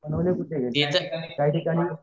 बनवले कुठेकाही ठिकाणी